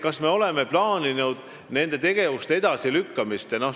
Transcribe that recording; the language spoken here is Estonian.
Kas me oleme plaaninud nende tegevuste edasilükkamist?